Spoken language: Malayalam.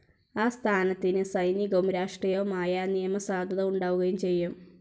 ആ സ്ഥാനത്തിന് സൈനികവും രാഷ്ട്രീയവുമായ നിയമസാധുത ഉണ്ടാവുകയും ചെയ്യും.